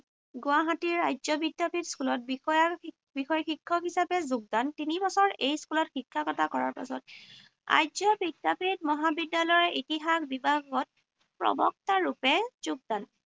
গুৱাহাটীৰ আৰ্য বিদ্যাপীঠ স্কুলত বিষয়ৰ বিষয় শিক্ষক হিচাপে যোগদান। তিনি বছৰ এই স্কুলত শিক্ষকতা কৰাৰ পিছত আৰ্য বিদ্যাপীঠ মহাবিদ্যালয় ইতিহাস বিভাগত প্ৰবক্তা ৰূপে যোগদান।